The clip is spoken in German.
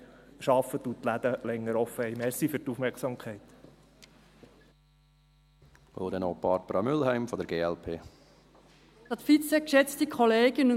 Es darf nicht so kommen, dass man immer noch länger arbeitet und die Läden länger geöffnet haben.